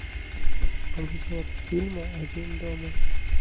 обзор фильма один дома